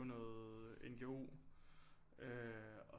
Noget NGO og